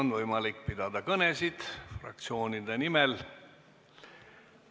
On võimalik pidada kõnesid fraktsioonide nimel.